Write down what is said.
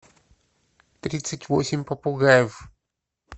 тридцать восемь попугаев